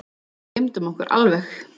Gleymdum okkur alveg.